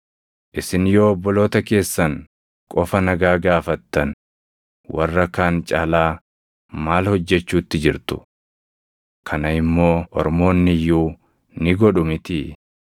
Isin yoo obboloota keessan qofa nagaa gaafattan warra kaan caalaa maal hojjechuutti jirtu? Kana immoo ormoonni iyyuu ni godhu mitii?